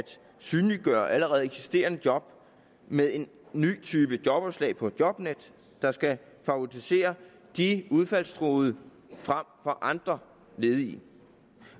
synliggøre allerede eksisterende job ved en ny type jobopslag på jobnet der skal favorisere de udfaldstruede frem for andre ledige